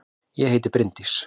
Ég heiti Bryndís!